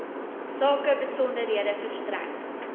sake besonderhede verstrek